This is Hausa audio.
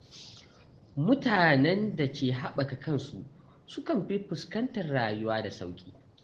Mutanen da ke haɓaka kansu sukan fi fuskantar rayuwa da sauƙi.